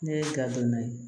Ne ye gafe naani ye